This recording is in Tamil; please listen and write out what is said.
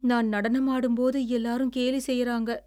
நான் நடனமாடும்போது எல்லாரும் கேலி செய்யுறாங்க.